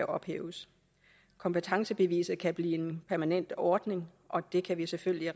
ophæves kompetencebeviset kan blive en permanent ordning og det kan vi selvfølgelig